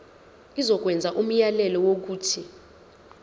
izokwenza umyalelo wokuthi